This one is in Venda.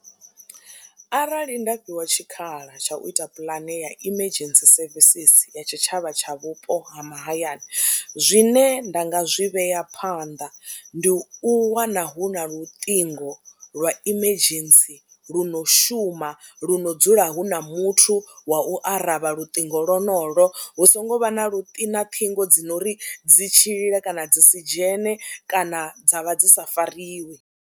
Arali nda fhiwa tshikhala tsha u ita puḽane ya emergency services ya tshitshavha tsha vhupo ha mahayani zwine nda nga zwi vhea phanḓa ndi u wana hu na luṱingo lwa emergency lu no shuma, lu no dzula hu na muthu wa u aravha luṱingo lonolwo, hu songo vha na luṱingo ṱhingo dzi no ri dzi tshi lila kana dzi si dzhene kana dza vha dzi sa fariwi.